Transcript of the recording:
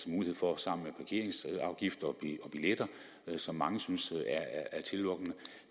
mulighed for at samle parkeringsafgifter og billetter som mange synes